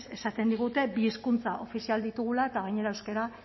ez esaten digute bi hizkuntza ofizial ditugula eta gainera euskara